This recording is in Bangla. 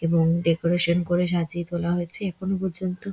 এবং ডেকোরেশন করা সাজিয়া তোলা হয়েছে এখনো পর্য্যন্ত--